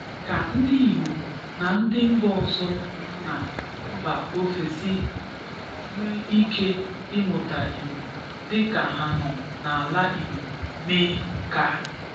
ka ndị Igbo na ndị mba ọzọ nọ na mba ofesi nwee ike imụta Igbo dịka ha nọ n'ala Igbo mee nke a.